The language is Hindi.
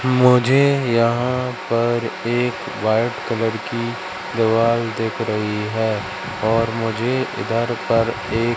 मुझे यहां पर एक व्हाइट कलर की देवाल दिख रही है और मुझे इधर पर एक --